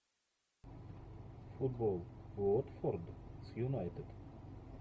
футбол уотфорд с юнайтед